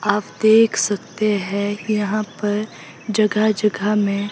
आप देख सकते हैं यहां पर जगह जगह में--